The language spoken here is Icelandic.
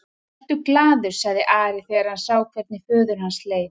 Vertu glaður, sagði Ari þegar hann sá hvernig föður hans leið.